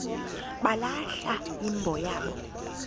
balahla imbo yabo